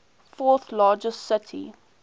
fourth largest city